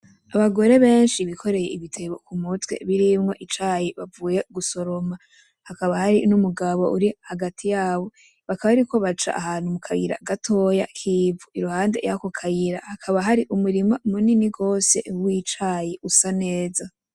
Abagore benshi bikoreye ibitebo ku mutwe birimwo icayi bavuye gusoroma, hakaba hari n'umugabo uri hagati yabo, bakaba bariko baca ahantu mu kayira gatoya k'ivu, iruhande yako kayira hakaba hari umurima munini gose w'icayi usa neza.